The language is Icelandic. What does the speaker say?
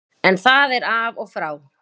En það er af og frá.